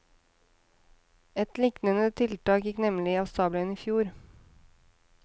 Et liknende tiltak gikk nemlig av stabelen i fjor.